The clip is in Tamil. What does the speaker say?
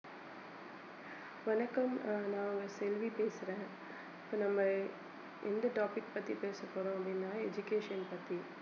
வணக்கம் அஹ் நான் உங்க செல்வி பேசறேன் இப்ப நம்ம எந்த topic பத்தி பேசப்போறோம் அப்படின்னா education பத்தி